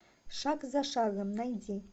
шаг за шагом найди